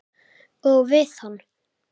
Og við hann.